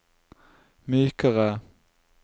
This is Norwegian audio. mykere